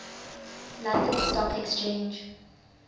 london stock exchange